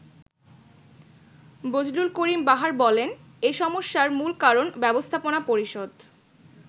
বজলুল করিম বাহার বলেন, “এ সমস্যার মূল কারণ ব্যবস্থাপনা পরিষদ।